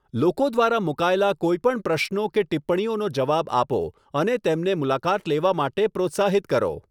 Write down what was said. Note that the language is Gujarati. લોકો દ્વારા મુકાયેલા કોઈપણ પ્રશ્નો કે ટિપ્પણીઓનો જવાબ આપો અને તેમને મુલાકાત લેવા માટે પ્રોત્સાહિત કરો.